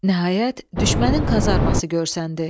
Nəhayət, düşmənin kazarması görsəndi.